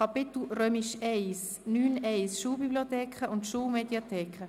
Somit gehen wir zur Detailberatung über.